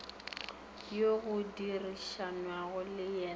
yoo go dirišanwago le yena